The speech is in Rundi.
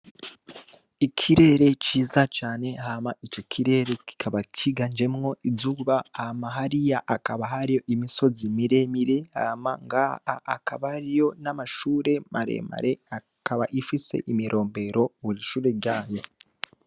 Ikirere ciza cane hama ico kirere kikaba kiganjemwo izuba, hama hariya akaba hari imisozi miremire, hama ngaha akaba hariyo n'amashure maremere, akaba ifise imirombero kw'ishure ryanyu.